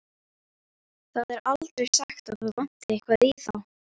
Það er aldrei sagt að það vanti eitthvað í þá.